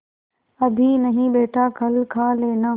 अभी नहीं बेटा कल खा लेना